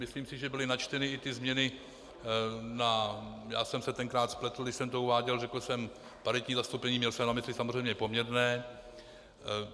Myslím si, že byly načteny i ty změny na, já jsem se tenkrát spletl, když jsem to uváděl, řekl jsem paritní zastoupení, měl jsem na mysli samozřejmě poměrné.